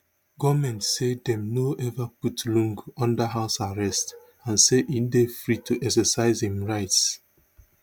goment say dem no ever put lungu under house arrest and say e dey free to exercise im rights